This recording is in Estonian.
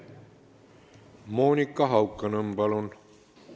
Monika Haukanõmm, palun!